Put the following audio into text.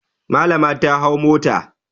Malama ta hau mota.